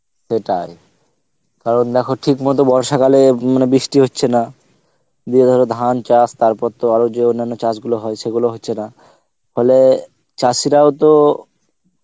সেটাই, কারণ দেখো ঠিক মত বর্ষা কালে বৃষ্টি হচ্ছে না, দিয়ে ধর ধান চাস তারপর তো আরো যে অন্যন্ন চাস গুলো হই সেগুলো তো হচ্ছে না, ফলে চাসিরাও তো